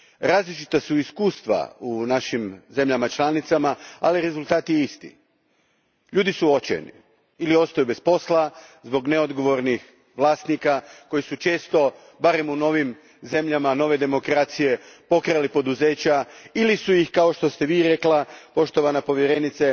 Različita su iskustva u našim državama članicama, ali rezultat je isti ljudi su očajni. Ili ostaju bez posla zbog neodgovornih vlasnika koji su često barem u novim zemljama, nove demokracije pokrali poduzeća ili su, kao što ste rekli poštovana povjerenice,